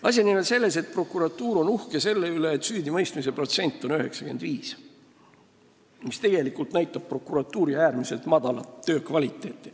Asi on nimelt selles, et prokuratuur on uhke selle üle, et süüdimõistmise protsent on 95, mis tegelikult näitab prokuratuuri töö äärmiselt madalat kvaliteeti.